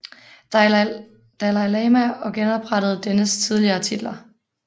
Dalai Lama og genoprettede dennes tidligere titler